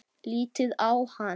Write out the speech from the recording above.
Lítið á hann!